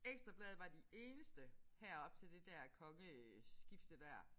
Ekstra Bladet var de eneste heroppe til det der kongeskifte der